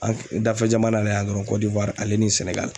An dafɛ jamana la yan dɔrɔn Kondowari ale ni Sɛnɛgali